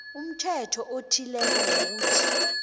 umthetho othileko ngokuthi